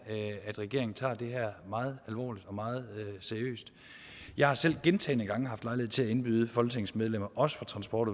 at regeringen tager det her meget alvorligt meget seriøst jeg har selv gentagne gange haft lejlighed til at indbyde folketingets medlemmer også fra transport